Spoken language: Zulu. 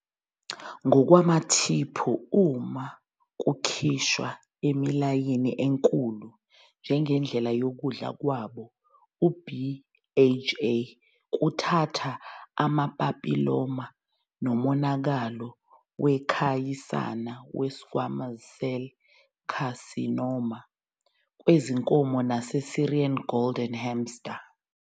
Ngokwamathiphu, uma kukhishwa emilayini enkulu njengendlela yokudla kwabo, u-BHA kuthatha amapapiloma nomonakalo wekhasiyana we-squamous cell carcinoma kwezinkomo nase-Syrian golden hamster.